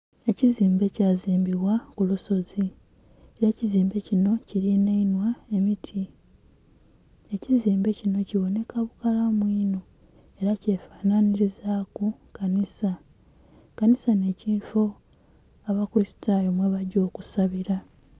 Ekizimbe kyazimbibwa kulusozi era ekizimbe kino kirinainhwa emiti ekizimbe kino kiboneka bukalamu inho era kyefanhanhirizaku kanhisa, kanhisa n'ekifoo abakulisitayo mwebagya okusabira.